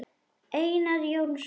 Einar Jónsson